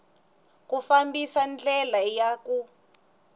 ku fambisa ndlela ya ku